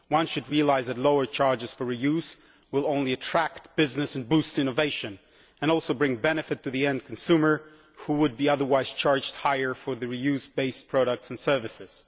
One should realise that lower charges for re use will only attract business and boost innovation, and also bring benefit to the end consumer who would otherwise be charged more for the reused base products and services.